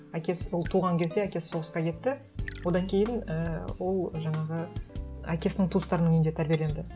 әкесі ол туған кезде әкесі соғысқа кетті одан кейін ііі ол жаңағы әкесінің туыстарының үйінде тәрбиеленді